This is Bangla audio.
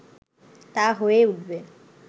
তা হয়ে উঠবে